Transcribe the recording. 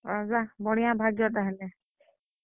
ହଁ, ଓ୍ବା ବଢିଁଆଁ ଭାଗ୍ୟ ତାହେଲେ।